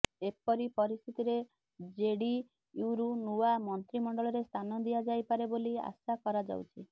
ଏପରି ପରିସ୍ଥିତିରେ ଜେଡିୟୁରୁ ନୂଆ ମନ୍ତ୍ରୀମଣ୍ଡଳରେ ସ୍ଥାନ ଦିଆଯାଇପାରେ ବୋଲି ଆଶା କରାଯାଉଛି